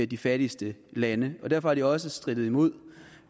de fattigste lande og derfor har de jo også strittet mod